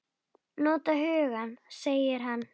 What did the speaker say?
Nota hugann, segir hann.